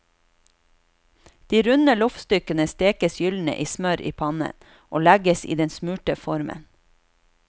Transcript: De runde loffstykkene stekes gyldne i smør i pannen og legges i den smurte formen.